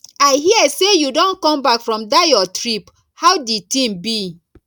i hear sey you don come back from dat your trip how di thing be